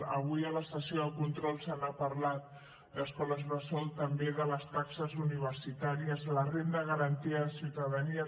avui a la sessió de control se n’ha parlat d’escoles bressol també de les taxes universitàries la renda garantida de ciutadania